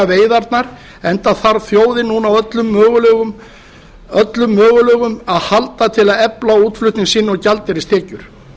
veiðarnar enda þarf þjóðin núna á öllum möguleikum að halda til að efla útflutning sinn og gjaldeyristekjur